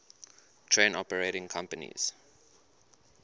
train operating companies